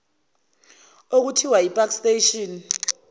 okuthiwa ipark station